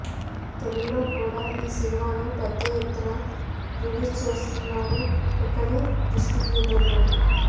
తెలుగులో కూడ ఈ సినిమాను పెద్ద ఎత్తున రిలీజ్ చేస్తున్నారు ఇక్కడి డిస్ట్రిబ్యూటర్లు